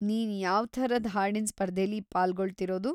ನೀನ್‌ ಯಾವ್ಥರದ್ ಹಾಡಿನ್ ಸ್ಪರ್ಧೆಲಿ ಪಾಲ್ಗೊಳ್ತಿರೋದು?